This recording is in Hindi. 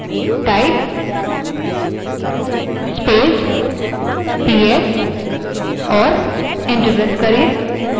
command prompt पर type space ps type करें और enter करें